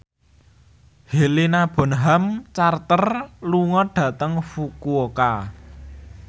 Helena Bonham Carter lunga dhateng Fukuoka